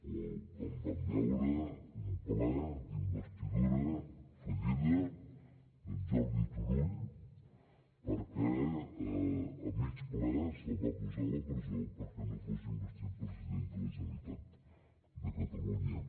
o quan vam veure un ple d’investidura fallida d’en jordi turull perquè a mig ple se’l va posar a la presó perquè no fos investit president de la generalitat de catalunya